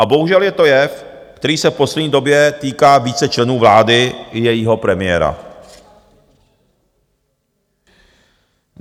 A bohužel je to jev, který se v poslední době týká více členů vlády i jejího premiéra.